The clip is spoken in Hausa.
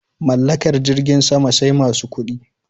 Mallakar jirgin sama sai masu kuɗi